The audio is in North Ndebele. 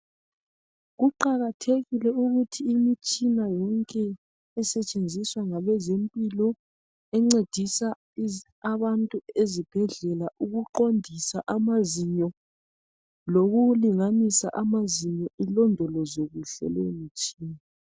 Kuqakathekile ukuthi imitshina yonke esetshenziswa ngabe zempilo encedisa abantu ezibhedlela ukuqondisa amazinyo lokulinganisa amazinyo ilondolozwe kuhle leyi mitshina.